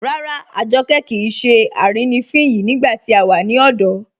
Ràrà, Àjọ́kẹ kíì ṣè àrínifín yìí nígbà tí a wà ní ọ̀dọ̀